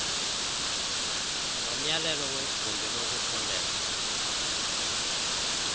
lomyalelo wegumbi lokufundela